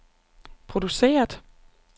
produceret